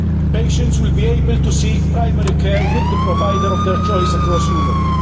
Patients will be able to seek primary care with the provider of their choice across Europe.